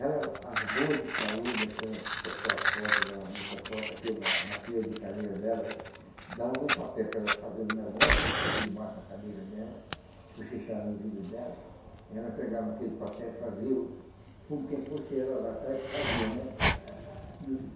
Elas, as boas de saúde, aquele pessoal forte, aquelas moças forte aqui na na fila de cadeira dela né, davam um papel para ela fazer um negócio aqui por debaixo da cadeira dela, cochichava no ouvido dela, e ela pegava aquele papel e fazia o como quem fosse ela lá atrás que fazia, né?